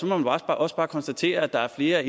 må man også bare konstatere at der er flere